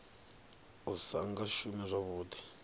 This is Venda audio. u sa nga shumi zwavhuḓi